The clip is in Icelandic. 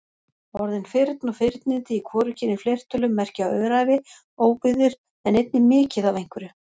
Orðin firn og firnindi í hvorugkyni fleirtölu merkja öræfi, óbyggðir en einnig mikið af einhverju.